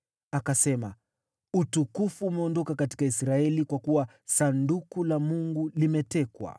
Akasema, “Utukufu umeondoka katika Israeli, kwa kuwa Sanduku la Mungu limetekwa.”